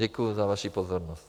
Děkuju za vaši pozornost.